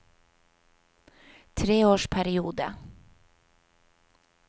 treårsperiode